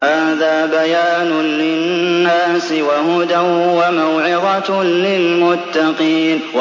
هَٰذَا بَيَانٌ لِّلنَّاسِ وَهُدًى وَمَوْعِظَةٌ لِّلْمُتَّقِينَ